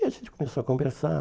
E a gente começou a conversar.